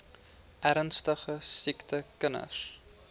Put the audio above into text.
ernstige siek kinders